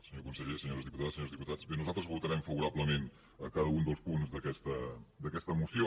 senyor conseller senyores diputades senyors diputats bé nosaltres votarem favorablement cada un dels punts d’aquesta moció